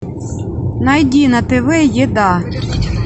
найди на тв еда